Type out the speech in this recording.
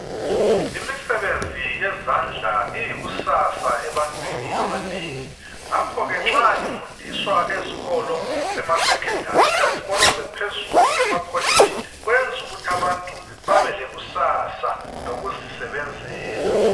Imisebenzi yezandla iyikusasa ebantwini abanengi ngakhoke nxa ifundiswa ezikolo emasekhendari lezikolo eziphezulu amakholeji kwenza ukuthi abantu babe lekusasa lokuzisebenzela.